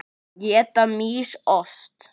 Éta mýs ost?